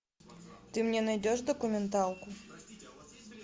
ты мне найдешь документалку